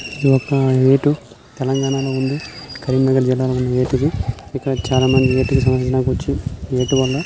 ఇదొక ఎటు తెలంగాణలో ఉంది. కరీంనగర్ జిల్లాలోని ఎటు ఇది ఇక్కడ చాలామంది సందర్శించడానికి వచ్చి ఇ ఎటు వల్ల